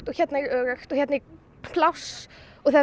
hérna er öruggt og hérna er pláss og það